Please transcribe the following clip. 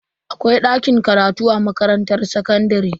Akwai dakin karatu a makarantar sakandare.